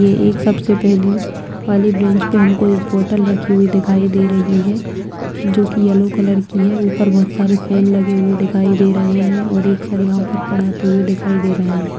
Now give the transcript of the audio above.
ये एक सबसे पेहले वाली ब्रेंच पे हमको एक बोतल रखी हुई दिखाई दे रही है जो की येलो कलर की है ऊपर बहोत सारे फैन लगे हुए दिखाई दे रहें हैं और एक सर यहाँ पर पढ़ाते हुए दिखाई दे रहे हैं।